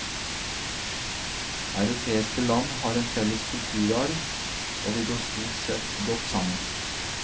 Europeiske land har en felles kulturarv, og vi går stort sett godt sammen.